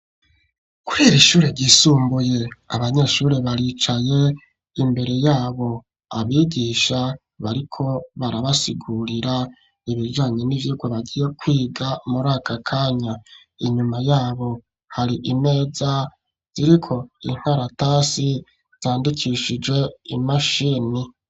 Kubera ishuri ryisumbuye ,abanyeshuri baricaye imbere yabo ,abigisha bariko barabasigurira ibijanye n'ivyigwa bagiye kwiga muri akakanya ,inyuma yabo hari imeza ziriko inkaratasi zandikishije imashini.